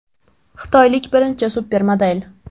Xitoylik birinchi supermodel.